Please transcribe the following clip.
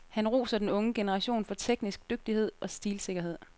Han roser den unge generation for teknisk dygtighed og stilsikkerhed.